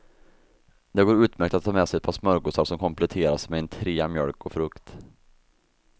Det går utmärkt att ta med sig ett par smörgåsar som kompletteras med en trea mjölk och frukt.